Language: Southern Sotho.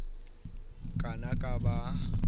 ka na ba ha a